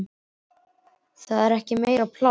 Og svo er ekki meira pláss.